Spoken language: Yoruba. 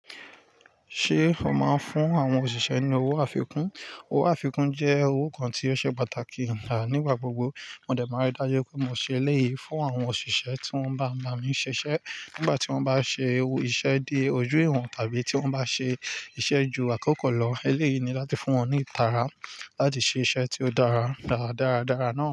Ṣé ó máa ń fún àwọn òṣìṣẹ́ ní owó àfikún? Owó àfikún jẹ́ owó kan tí ó ṣe pàtàkì nígbà gbogbo. Mọ̀dẹ̀ máa rí dájú pé mo ṣe eléyìí fún àwọn òṣìṣẹ́ tí wọ́n bá ba mí ṣiṣẹ́ nígbà tí wọ́n bá ṣe iṣẹ́ dé ojú ìwọ̀n tàbí tí wọ́n bá ṣe iṣẹ́ ju àkókò lọ. Eléyìí ni láti fún wọn ní ìtara láti ṣe iṣẹ́ tí ó dára dára, dára dára náà.